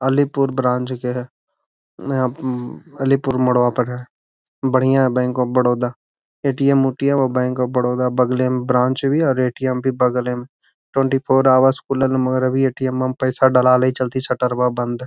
Alipur branch के है येप उम अलीपुर मोड़वा पर है बढ़ियां है बैंक ऑफ़ बरोदा ए.टी.एम. उटीअम बैंक ऑफ़ बरोदा बगले म ब्रांच भी है और ए.टी.एम. भी बगले में है ट्वेंटी फ़ोर हॉर्स खुलल मगर अभी ए.टी.एम. म पइसवा डलाल है इ चलती शटरवा बंद है।